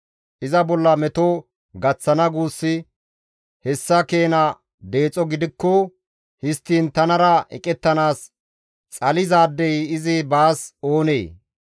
Iza bolla meto gaththana guussi, hessa keena deexo gidikko, histtiin tanara eqettanaas xalizaadey izi baas oonee?